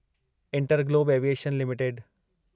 InterGlobe Aviation limited